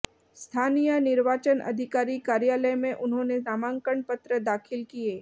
स्थानीय निर्वाचन अधिकारी कार्यालय में उन्होंने नामांकन पत्र दाखिल किए